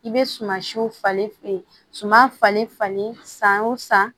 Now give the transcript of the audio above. I bɛ suman siw falen suman falen falen san o san